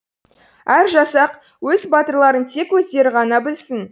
әр жасақ өз батырларын тек өздері ғана білсін